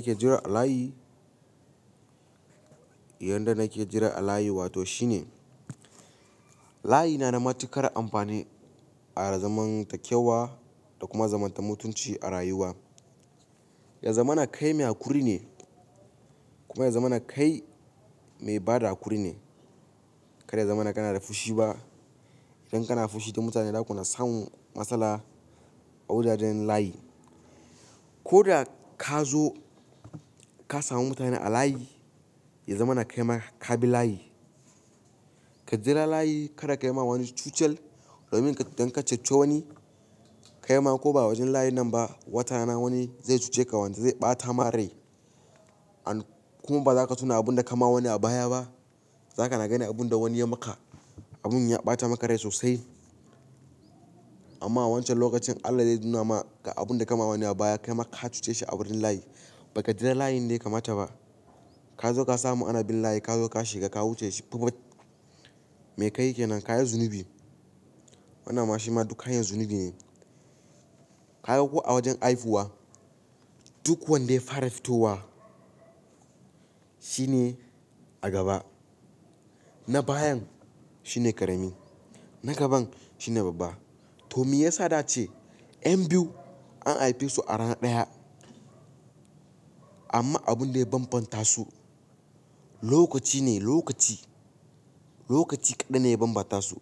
Yadda nake jira a layi? Yanda nake jira a layi wato shine layi nada matuƙar amfani a zamantakewa da kuma zaman mutunci a rayuwa. Ya zamana kai mai haƙuri ne kuma ya zamana. Kai mai bada haƙuri ne. Karya zamana kana da fushi ba, idan kana fushi da mutane zakuna samun matsala a wajajen layi. Koda kazo ka samu mutane a layi, ya zamana kai ma kabi layi. Ka jira layi kada kayi ma wani cucel domin idan ka cuce wani, kai ma ko ba wajen layi nan ba watarana wani zai cuce ka wanda zai ɓatama rai. Kuma baza ka tuna abinda kama wani a baya ba. Zakana ganin abun da wani yayi maka, abun ya ɓata maka rai sosai. Amma a wancan lokacin Allah zai nuna maka abunda kama wani a baya kaima ka cuce shi a wurin layi. Baka jira layin da yakamata ba. Kazo ka samu anabin layi kazo ka shiga ka wuce shi. Me kayi kenan? Kayi zunubi. Wannan ma shima duk hanyar zunubi ne. Kaga ko a wajen haifuwa, duk wanda ya fara fitowa shine a gaba. Na bayan shine ƙarami. Na gaban shine babba. To meyasa da'ace yan biyu an haife su a rana ɗaya? Amma abunda ya bambanta su lokaci ne, lokaci. Lokaci kaɗan ne ya bambanta su.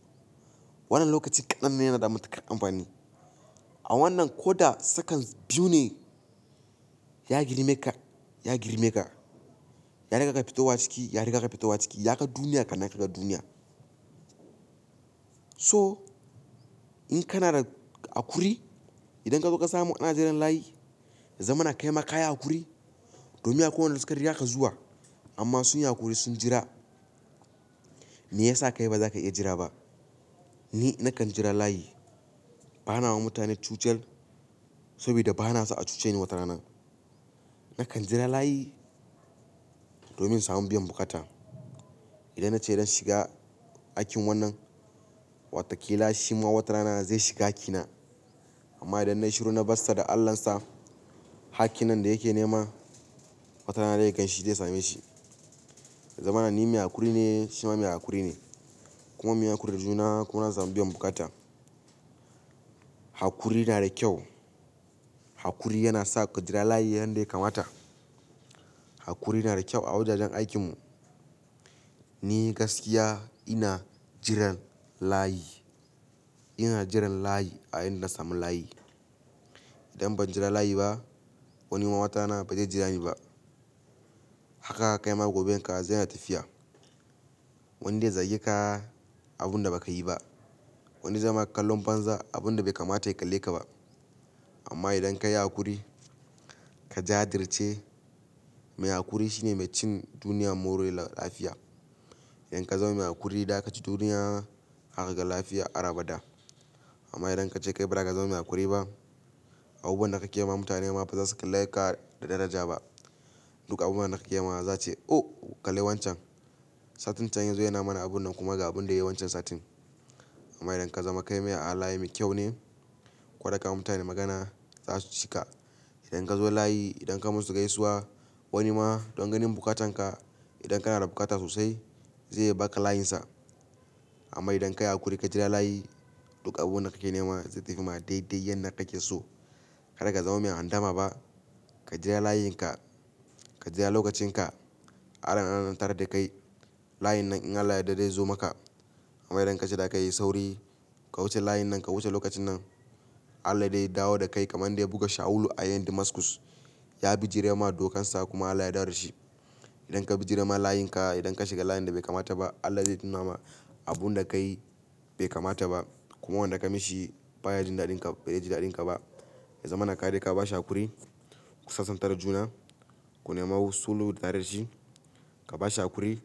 Wannan lokacin ƙaɗan ne yana da matuƙar amfani. A wannan koda second biyu ne ya girme ka, ya girme ka. Ya riga ka fitowa a ciki, ya riga ka fitowa a ciki. Yaga duniya kannan kaga duniya. So in kanada haƙuri, idan kazo ka samu ana jiran layi, ya zamana kaima kayi haƙuri domin akwai wanda suka rigaka zuwa. Amma sunyi haƙuri sun jira. Me yasa kai baza ka iya jira ba? Ni nakan jira layi. Banawa mutane cucel saboda bana so a cuce ni wata rana. Na kan jira layi domin samun biyan bukata. Idan nace zan shiga hakkin wannan, watakila shi ma wata rana zai shiga hakkina. Amma idan na shiru na barsa da Allahn sa, hakkin nan da yake nema wata rana zai ganshi zai same shi. Ya zamana ni mai haƙuri ne, shima mai haƙuri ne. Kuma munyi haƙuri da juna kuma an samu biyan bukata. Haƙuri nada ƙyau. Haƙuri yana sa ka jira layi yanda yake kamata. Haƙuri nada ƙyau a wajajen aikin mu. Ni gaskiya ina jiran layi. Ina jiran layi a inda na samu layi. Idan ban jira layi ba, wani ma watana bazai jira niba. Haka kaima goben ka zaina tafiya. Wani zai zage ka abunda baka yi ba. Wani zaima kallon banza abunda bai kamata ya kalle kaba. Amma idan kayi haƙuri, ka jajirce, mai haƙuri shine mai cin duniya moriya lafiya. Idan ka zauna haƙuri zakaci duniya harga lafiya har abada. Amma idan kace kai baza ka zama mai haƙuri ba, abubuwan da kake yi ma mutane ma bazasu kalle ka da daraja ba. Duk abun da kake yi ma za'a ce o kalli wancan. Satin can yazo yana mana abun nan kuma ga abun da yayi wancan satin. Amma idan ka zama kai mai halaye mai ƙyau ne. Koda ka ma mutane magana za su cika. Idan ka zo layi, idan ka musu gaisuwa, wani ma don ganin buƙatan ka, idan kana da buƙata sosai za iya ba ka layinsa. Amma idan ka yi haƙuri ka jira layi, duk abubuwan da kake nema zai tafi ma daidai yanda kake so. Kada ka zama mai handama ba. Ka jira layin ka, ka jira lokacin ka. Anan antarar da kai. Layin nan in Allah ya yarda zai zo maka amma idan kace za ka yi sauri, ka wuce layin nan ka wuce lokacin nan, Allah zai dawo da kai kamar yanda ya buga Shawulu a yayin Damascus. Ya bi jirai ma dokan sa kuma Allah ya dawo da shi. Idan ka bijire ma layin ka idan ka shiga layin da bai kamata ba Allah zai nunama abinda kayi be kamata ba kuma wanda kai mashi baya jin daɗin ka bazeji daɗin kaba Ya zamana kaje ka bashi haƙuri, ku sasanta da juna kunema sulhu tare da shi ka ba shi haƙuri,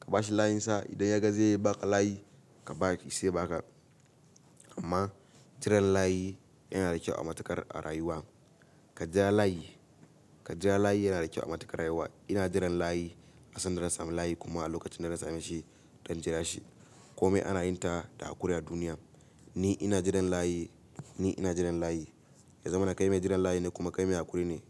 ka ba shi layinsa. Idan ya ga ze ba ka layi, ka ba shi saiya ba ka. Amma jiran layi yana da kyau a matukar a rayuwa. Ka jira layi, ka jira layi yana da kyau a matukar rayuwa. Ina jiran layi a sandar na samu layi kuma a lokacin da na samu shi don jira shi. Ko mai ana yin ta da haƙuri a duniya. Ni ina jiran layi, ni ina jiran layi. Yaza mana kai mai jiran layi ne kuma kai mai haƙuri ne.